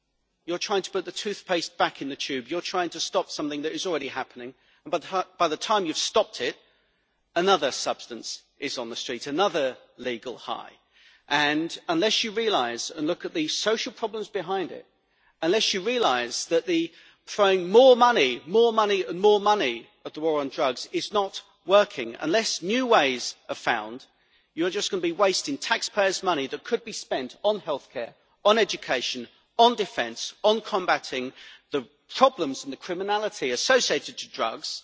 You're trying to put the toothpaste back in the tube you're trying to stop something that is already happening, and by the time you have stopped it another substance is on the street, another legal high. Unless you recognise and look at the social problems behind it, unless you realise that throwing more money, more money and more money at the war on drugs is not working, unless new ways are found, then you are just going to be wasting taxpayers' money that could be spent on healthcare, education or defence, or on combating the problems and the criminality associated with drugs,